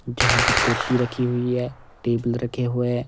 जहां पर कुर्सी रखी हुई है टेबल रखे हुए है।